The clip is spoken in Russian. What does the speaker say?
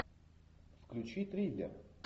включи триллер